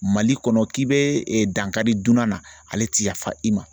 Mali kɔnɔ k'i bɛ dankari dunan na ale tɛ yafa i ma